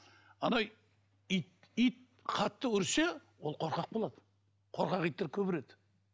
анау ит ит қатты үрсе ол қорқақ болады қорқақ иттер көп үреді